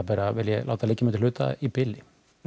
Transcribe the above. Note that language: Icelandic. vil ég láta liggja milli hluta í bili